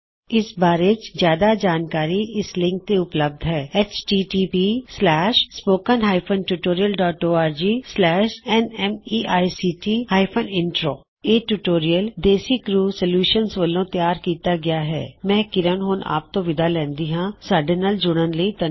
ਇਸ ਬਾਰੇ ਜਿਆਦਾ ਜਾਣਕਾਰੀ ਇਸ ਲਿੰਕ ਤੇ ਉਪਲਬੱਧ ਹੈ httpspoken tutorialorgNMEICT Intro ਇਹ ਟਿਊਟੋਰਿਅਲ ਦੇਸੀ ਕਰਿਉ ਸੌਲਯੂਸ਼ਨਜ਼ ਵੱਲੋਂ ਤਿਆਰ ਕੀਤਾ ਗਿਆ ਮੈਂ ਕਿਰਨ ਹੁਣ ਆਪ ਤੋਂ ਵਿਦਾ ਲੈਂਦੀ ਹਾਂ ਸਾਡੇ ਨਾਲ ਜੁੜਨ ਲਈ ਧੰਨਵਾਦ